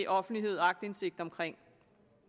offentlighed og aktindsigt omkring